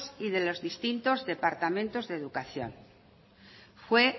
y de los distintos departamentos de educación fue